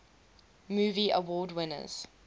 movie award winners